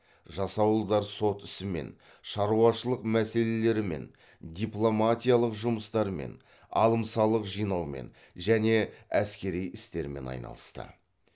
жасауылдар сот ісімен шаруашылық мәселелерімен дипломатиялық жұмыстармен алым салық жинаумен және әскери істермен айналысты